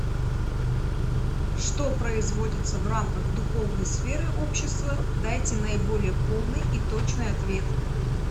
что производится в рамках духовной сферы общества дайте наиболее полный и точный ответ